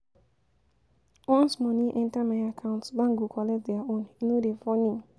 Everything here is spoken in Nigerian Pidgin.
Once moni enta my account, bank go collect their own, e no dey funny.